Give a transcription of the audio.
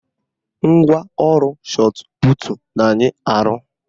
Ngwaọrụ shọtputu na-anyị arọ